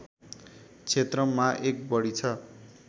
क्षेत्रमा १ बढी छ